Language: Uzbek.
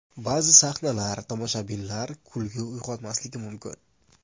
Ba’zi sahnalar tomoshabinlar kulgi uyg‘otmasligi mumkin.